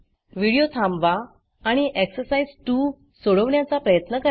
video थांबवा आणि exercise 2 सोडवण्याचा प्रयत्न करा